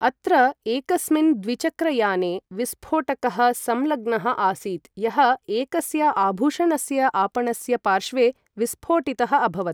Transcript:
अत्र, एकस्मिन् द्विचक्रयाने विस्फोटकः संलग्नः आसीत् यः एकस्य आभूषणस्य आपणस्य पार्श्वे विस्फोटितः अभवत्।